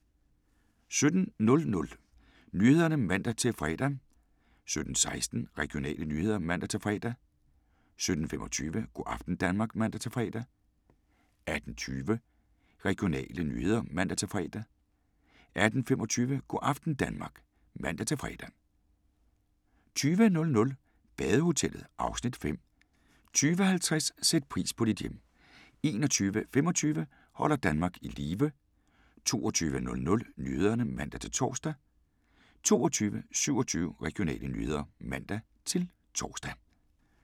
17:00: Nyhederne (man-fre) 17:16: Regionale nyheder (man-fre) 17:25: Go' aften Danmark (man-fre) 18:20: Regionale nyheder (man-fre) 18:25: Go' aften Danmark (man-fre) 20:00: Badehotellet (Afs. 5) 20:50: Sæt pris på dit hjem 21:25: Holder Danmark i live 22:00: Nyhederne (man-tor) 22:27: Regionale nyheder (man-tor)